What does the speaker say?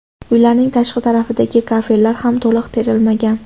Uylarning tashqi tarafidagi kafellar ham to‘liq terilmagan.